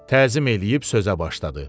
Təzim eləyib sözə başladı.